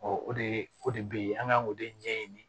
o de o de be yen an ŋ'an k'o de ɲɛɲini